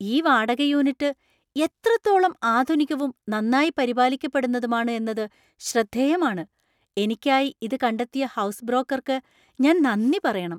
ഈ വാടക യൂണിറ്റ് എത്രത്തോളം ആധുനികവും നന്നായി പരിപാലിക്കപ്പെടുന്നതുമാണ് എന്നത് ശ്രദ്ധേയമാണ്! എനിക്കായി ഇത് കണ്ടെത്തിയ ഹൗസ് ബ്രോക്കർക്ക് ഞാൻ നന്ദി പറയണം.